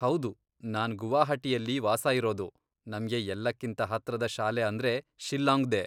ಹೌದು, ನಾನ್ ಗುವಾಹಟಿಯಲ್ಲಿ ವಾಸ ಇರೋದು, ನಮ್ಗೆ ಎಲ್ಲಕ್ಕಿಂತ ಹತ್ರದ ಶಾಲೆ ಅಂದ್ರೆ ಶಿಲ್ಲಾಂಗ್ದೇ.